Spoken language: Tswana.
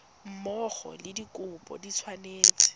mmogo le dikopo di tshwanetse